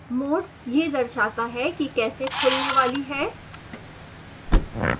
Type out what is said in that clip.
mode यह दर्शाता है कि कैसे खुलने वाली है